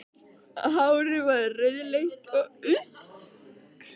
Hárið var rauðleitt og lítillega farið að þynnast í kollvikunum.